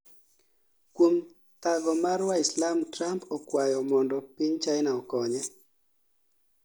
kuom thago mar waislam Trump okwayo mondo piny China okonye